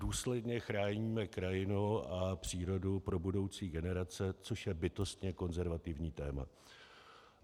Důsledně chráníme krajinu a přírodu pro budoucí generace, což je bytostně konzervativní téma.